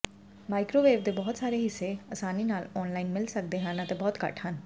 microwave ਦੇ ਬਹੁਤ ਸਾਰੇ ਹਿੱਸੇ ਆਸਾਨੀ ਨਾਲ ਔਨਲਾਈਨ ਮਿਲ ਸਕਦੇ ਹਨ ਅਤੇ ਬਹੁਤ ਘੱਟ ਹਨ